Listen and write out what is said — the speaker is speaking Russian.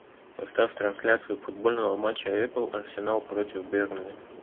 поставь трансляцию футбольного матча апл арсенал против бернли